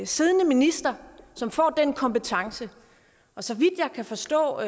siddende minister som får den kompetence og så vidt jeg kan forstå